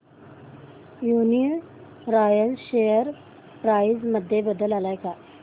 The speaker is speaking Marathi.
यूनीरॉयल शेअर प्राइस मध्ये बदल आलाय का